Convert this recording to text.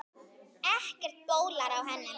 Ekkert bólar á henni.